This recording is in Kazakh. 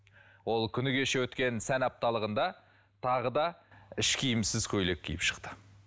ол күні кеше өткен сән апталығында тағы да іш киімсіз көйлек киіп шықты